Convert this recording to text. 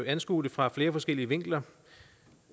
anskue det fra flere forskellige vinkler